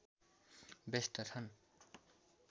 व्यस्त छन्